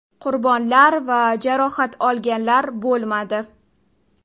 Qurbonlar va jarohat olganlar bo‘lmadi.